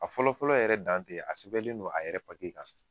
A fɔlɔfɔlɔ yɛrɛ dan tɛ a sɛbɛnlen don a yɛrɛ kan .